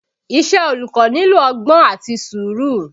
Iṣẹ́ olùkọ́ nílò ọgbọ́n àti sùúrù